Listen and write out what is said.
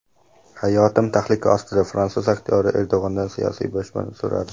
Hayotim tahlika ostida – fransuz aktyori Erdo‘g‘andan siyosiy boshpana so‘radi.